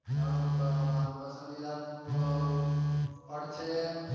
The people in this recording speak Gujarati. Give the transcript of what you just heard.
મારો મારો પસંદીદા ફૂ ફળ છે.